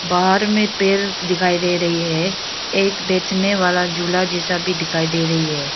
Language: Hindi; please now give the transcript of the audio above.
बाहर में पेल दिखाई दे रही है एक बैठने वाला झूला जैसा भी दिखाई दे रही है।